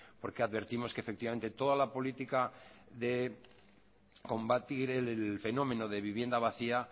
porque advertimos que efectivamente que toda la política de combatir el fenómeno de vivienda vacía